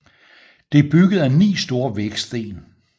Det er bygget af ni store vægsten